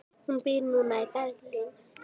Hún býr núna í Berlín.